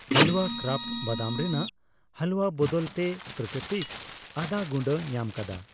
ᱦᱟᱞᱣᱟ ᱠᱨᱟᱯᱷᱴ ᱵᱟᱫᱟᱢ ᱨᱮᱱᱟᱜ ᱦᱟᱞᱩᱣᱟ ᱵᱚᱫᱚᱞᱛᱮ ᱯᱨᱟᱠᱨᱤᱛᱤᱠ ᱟᱫᱟ ᱜᱩᱸᱰᱟᱹ ᱧᱟᱢᱟᱠᱟᱫᱟ